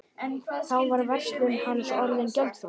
Þá var verslun hans orðin gjaldþrota.